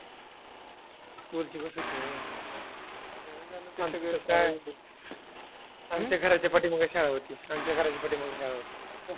School ची bus होती व्हयं? आमच्या घराच्या पाठीमागे शाळा होती. आमचा घराच्या पाठीमागे शाळा होती.